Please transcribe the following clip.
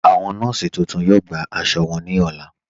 Awọn nọọ̀sí tuntun yọ̀ọ́ gbà àṣọ wọn ní ọlá.